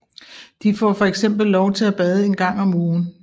De får fx lov til at bade en gang om ugen